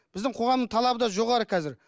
біздің қоғамның талабы да жоғары қазір